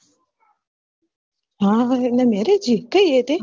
હ હ એના marriage હી કઈ હૈ તે